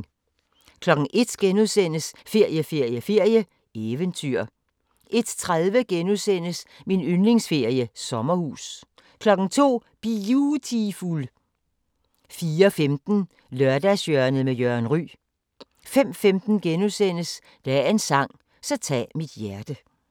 01:00: Ferie, ferie, ferie: Eventyr * 01:30: Min yndlingsferie: Sommerhus * 02:00: Biutiful 04:15: Lørdagshjørnet med Jørgen Ryg 05:15: Dagens sang: Så tag mit hjerte *